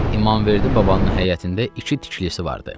İmamverdi babanın həyətində iki tikilisi vardı.